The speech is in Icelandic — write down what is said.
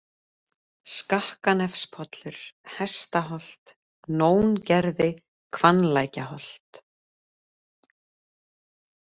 Skakkanefspollur, Hestaholt, Nóngerði, Hvannlækjarholt